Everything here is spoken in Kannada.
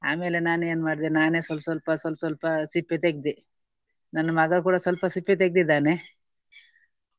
ಆಮೇಲೆ ನಾನು ಏನು ಮಾಡಿದೆ ನಾನೇ ಸ್ವಲ್~ ಸ್ವಲ್ಪ ಸ್ವಲ್~ ಸ್ವಲ್ಪ ಸಿಪ್ಪೆ ತೆಗ್ದೆ. ನನ್ನ ಮಗ ಕೂಡ ಸ್ವಲ್ಪ ಸಿಪ್ಪೆ ತೆಗ್ದಿದ್ದಾನೆ.